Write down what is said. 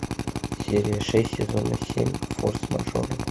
серия шесть сезона семь форс мажоры